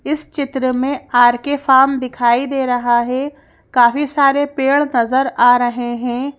इस चित्र में आरके फार्म दिखाई दे रहा है काफी सारे पेड़ नजर आ रहे हैं।